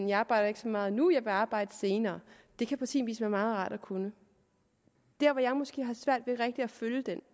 jeg arbejder ikke så meget nu jeg arbejder senere det kan på sin vis være meget rart at kunne der hvor jeg måske har svært ved rigtigt at følge det